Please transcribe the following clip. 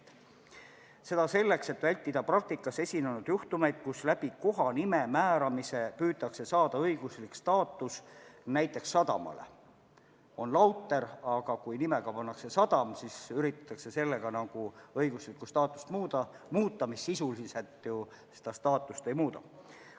See on vajalik sellepärast, et vältida praktikas esinenud juhtumeid, mille korral on kohanime määramise kaudu püütud saada õiguslik staatus näiteks sadamale – tegelikult on lauter, aga nimeks pannakse sadam ja seeläbi üritatakse nagu õiguslikku staatust muuta, kuigi sisuliselt see ju staatust ei muuda.